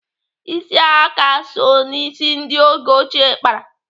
Ịsị aka so n'isi ndị oge ochie kpara.